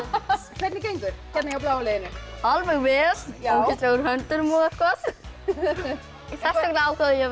hvernig gengur hérna hjá bláa liðinu alveg vel ógeðslegur á höndunum og eitthvað þess vegna ákvað ég að